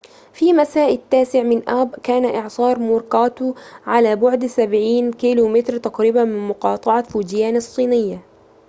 في مساء التاسع من آب كان إعصار موراكوت على بعد سبعين كيلو متراً تقريباً من مقاطعة فوجيان الصينية